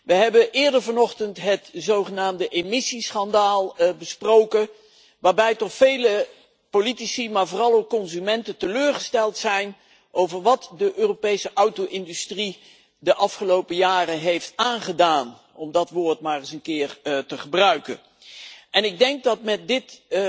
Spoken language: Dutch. We hebben eerder vanochtend het zogenaamde emissieschandaal besproken, waarbij toch vele politici maar vooral ook consumenten teleurgesteld zijn over wat de Europese auto industrie ons de afgelopen jaren heeft aangedaan, om dat woord maar eens een keer te gebruiken. Ik denk dat we met dit